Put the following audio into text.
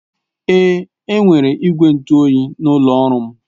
Èé, enwere igwe ntụ oyi n'ụlọ ọrụ m